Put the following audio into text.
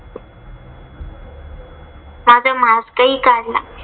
माझा mask हि काढला.